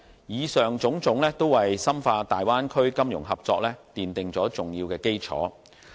以上種種，均為深化大灣區金融合作奠定了重要基礎。